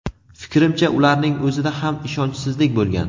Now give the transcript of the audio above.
Fikrimcha, ularning o‘zida ham ishonchsizlik bo‘lgan.